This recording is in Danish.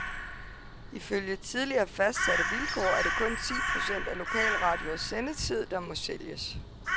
Ifølge tidligere fastsatte vilkår er det kun ti procent af lokalradioers sendetid, der må sælges.